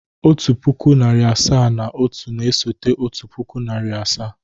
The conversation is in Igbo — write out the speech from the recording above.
Otu pụkụ, narị asaa na otu na-esote otu puku na narị asaa.